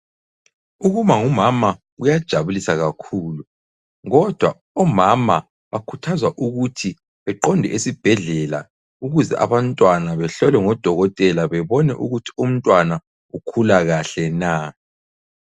Ukuba ngumama kuyajabulisa kakhulu kodwa omama bakhuthazwa ukuthi beqonde esibhedlela ukuze abantwana behlolwe ngodokotela bebone ukuthi umntwana ukhula kahle na.